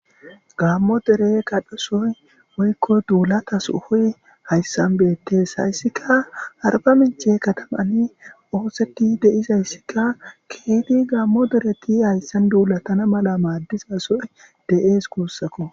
gaammo dere kadhusoy woykko duulatasuhoy hayssan beettes hayssika arba minche katamani ooseti deizayssikka keeti gaammo dereti hayssan duulatana mala maaddiza soy de'ees guussakko